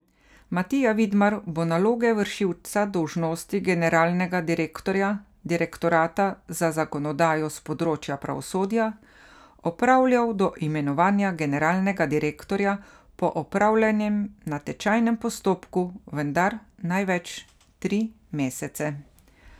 Matija Vidmar bo naloge vršilca dolžnosti generalnega direktorja direktorata za zakonodajo s področja pravosodja opravljal do imenovanja generalnega direktorja po opravljenem natečajnem postopku, vendar največ tri mesece.